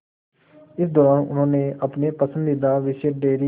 इस दौरान उन्होंने अपने पसंदीदा विषय डेयरी